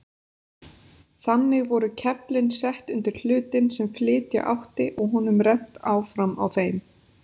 Þannig voru keflin sett undir hlutinn sem flytja átti og honum rennt áfram á þeim.